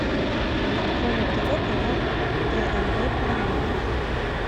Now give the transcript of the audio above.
открой на тв канал тнв планета